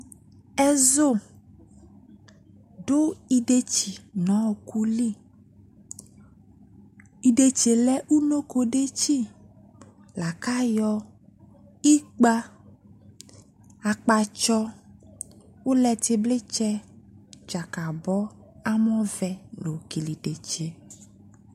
Ɛzu do idefsi no ɔku li Idetsie lɛ unoko detsi la ko ayɔ ikpa, akpatsɔ, ulɛtebletsɛ, dzakabɔ, amɔvɛ la yɔ kele idetsie